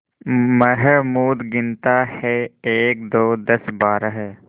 महमूद गिनता है एकदो दसबारह